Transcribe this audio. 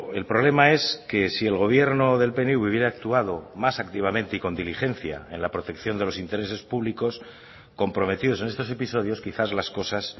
el problema es que si el gobierno del pnv hubiera actuado más activamente y con diligencia en la protección de los intereses públicos comprometidos en estos episodios quizás las cosas